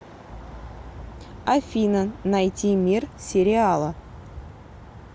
афина найти мир сериала